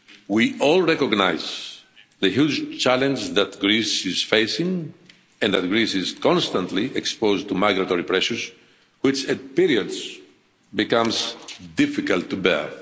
we all recognise the huge challenge that Greece is facing and that Greece is constantly exposed to migratory pressures, which at periods becomes difficult to bear.